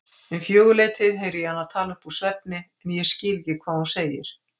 Um fjögurleytið heyri ég hana tala uppúr svefni en ég skil ekki hvað hún segir.